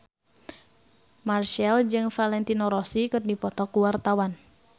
Marchell jeung Valentino Rossi keur dipoto ku wartawan